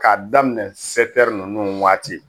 K'a daminɛ ninnu waati